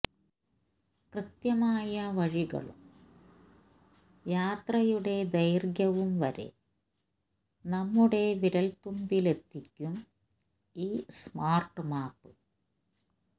കൃത്യമായ വഴികളും യാത്രയുടെ ദൈര്ഘ്യവും വരെ നമ്മുടെ വിരല്തുമ്പിലെത്തിക്കും ഈ സ്മാര്ട്ട് മാപ്പ്